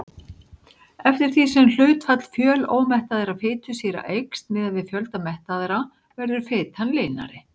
Eftir því sem hlutfall fjölómettaðra fitusýra eykst miðað við fjölda mettaðra verður fitan linari.